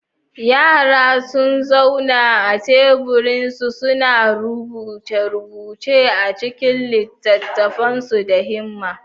Yara sun zauna a teburinsu, suna rubuce-rubuce a cikin littattafansu da himma.